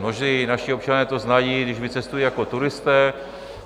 Mnozí naši občané to znají, když vycestují jako turisté.